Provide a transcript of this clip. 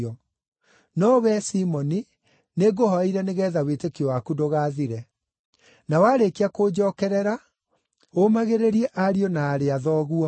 No wee, Simoni nĩngũhooeire nĩgeetha wĩtĩkio waku ndũgathire. Na warĩkia kũnjookerera, ũũmagĩrĩrie ariũ na aarĩ a thoguo.”